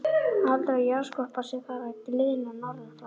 Álitið er að jarðskorpan sé þar að gliðna norðan frá.